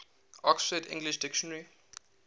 oxford english dictionary